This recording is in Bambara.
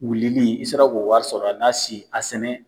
Wulili i sera k'o wari sɔrɔ a n'a si a sɛnɛ